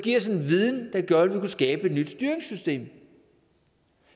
give os en viden der gør at vi kan skabe et nyt styringssystem